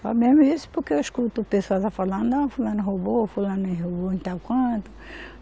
Só mesmo isso, porque eu escuto o pessoal lá falando, não, fulano roubou, fulano enrolou em tal canto.